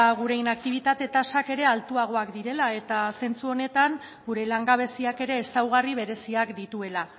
gure inaktibitate tasak ere altuagoak direla eta zentzu honetan gure langabeziak ere ezaugarri bereziak dituela